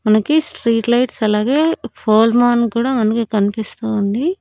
మనకి street lights అలాగే ఫోల్మాన్ కూడా మనకి కనిపిస్తూ ఉంది.